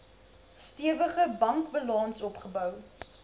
stewige bankbalans opgebou